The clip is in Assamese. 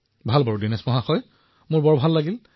ঠিক আছে দিনেশজী মই খুব ভাল পালো